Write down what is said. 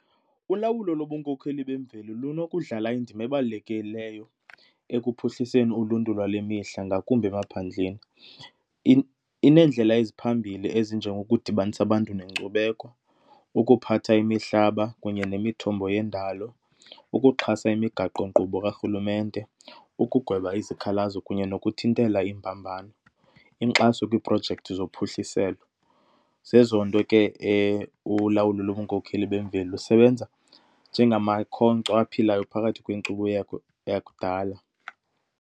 Ulawulo lobunkokheli bemveli lunokudlala indima ebalulekileyo ekuphuhliseni uluntu lwale mihla ngakumbi emaphandleni. Ineendlela eziphambili ezinjengokudibanisa abantu nenkcubeko, ukuphatha imihlaba kunye nemithombo yendalo, ukuxhasa imigaqonkqubo karhulumente, ukugweba izikhalazo kunye nokuthintela imbambano, inkxaso kwiiprojekthi zophuhliselo. Zezo nto ke ulawulo lobunkokheli bemveli, usebenza njengamakhonkco aphilayo phakathi kwenkcubeko yakudala.